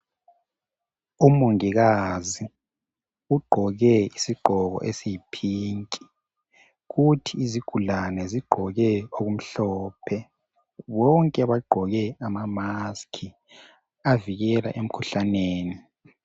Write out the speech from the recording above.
Umongikazi ugqoke isigqoko esiyipink kuthi izigulane zigqoke okumhlophe bonke bagqoke amamask avikela emkhuhlaneni.